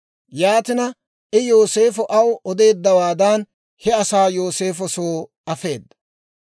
Yaatina I Yooseefo aw odeeddawaadan he asaa Yooseefo soo afeedda.